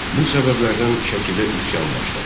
Bu səbəblərdən Şəkidə üsyan başladı.